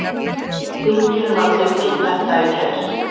Þinginu var tilkynnt þetta í gær